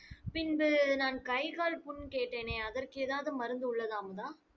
பின்பு நான் கை கால் புண் கேட்டேனே அதற்கு ஏதாவது மருந்து உள்ளதா அமுதா